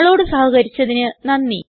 ഞങ്ങളോട് സഹകരിച്ചതിന് നന്ദി